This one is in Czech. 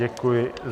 Děkuji.